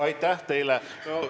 Aitäh teile!